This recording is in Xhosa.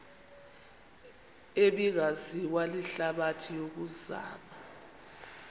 ebingaziwa lihlabathi yokuzama